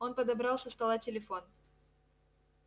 он подобрал со стола телефон